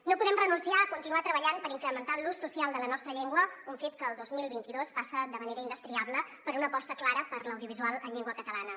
no podem renunciar a continuar treballant per incrementar l’ús social de la nostra llengua un fet que el dos mil vint dos passa de manera in·destriable per una aposta clara per l’audiovisual en llengua catalana